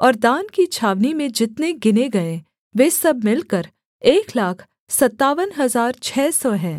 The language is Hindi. और दान की छावनी में जितने गिने गए वे सब मिलकर एक लाख सत्तावन हजार छः सौ हैं